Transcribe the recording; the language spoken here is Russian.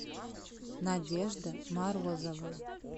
надежда морозова